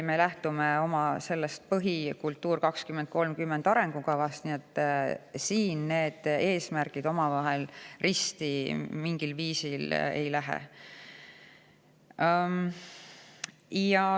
Me lähtume ka oma põhiarengukavast "Kultuur 2030", nii et siin need eesmärgid omavahel risti mingil viisil ei lähe.